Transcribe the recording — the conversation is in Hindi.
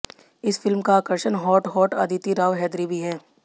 इस फिल्म का आकर्षण हॉट हॉट अदिति राव हैदरी भी हैं